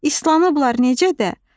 İslanıblar necə də?